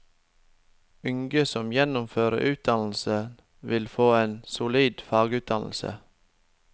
Unge som gjennomfører utdannelsen, vil få en solid fagutdannelse.